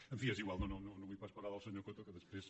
en fi és igual no vull pas parlar del senyor coto que després